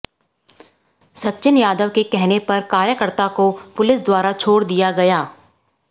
सचिन यादव के कहने पर कार्यकर्ता को पुलिस द्वारा छोड़ दिया गया